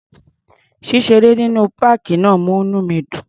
Ṣíṣeré nínú páàkì náà múní mi dùn.